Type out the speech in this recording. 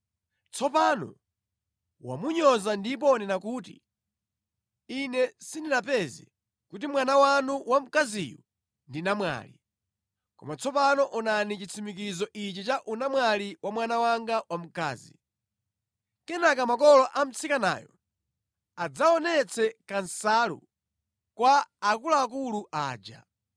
Tsopano wamunyoza ndipo wanena kuti, ‘Ine sindinapeze kuti mwana wanu wamkaziyu ndi namwali.’ Koma tsopano onani chitsimikizo ichi cha unamwali wa mwana wanga wamkazi.” Kenaka makolo a mtsikanayo adzaonetse kansalu kwa akuluakulu aja,